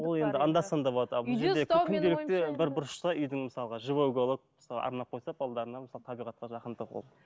ол енді анда санда болады күнделікті бір бұрышта үйдің мысалға живой уголок арнап қойса мысалы табиғатқа жақындық ол